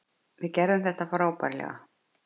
Við gerðum þetta frábærlega.